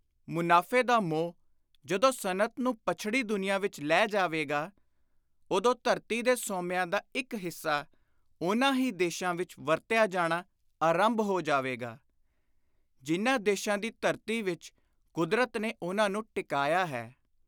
ਮੁਨਾਫ਼ੇ ਦਾ ਮੋਹ ਜਦੋਂ ਸਨਅਤ ਨੂੰ ਪੱਛੜੀ ਦੁਨੀਆਂ ਵਿਚ ਲੈ ਜਾਵੇਗਾ, ਉਦੋਂ ਧਰਤੀ ਦੇ ਸੋਮਿਆਂ ਦਾ ਇਕ ਹਿੱਸਾ ਉਨ੍ਹਾਂ ਹੀ ਦੇਸ਼ਾਂ ਵਿਚ ਵਰਤਿਆ ਜਾਣਾ ਆਰੰਭ ਹੋ ਜਾਵੇਗਾ, ਜਿਨ੍ਹਾਂ ਦੇਸ਼ਾਂ ਦੀ ਧਰਤੀ ਵਿਚ ਕੁਦਰਤ ਨੇ ਉਨ੍ਹਾਂ ਨੂੰ ਟਿਕਾਇਆ ਹੈ।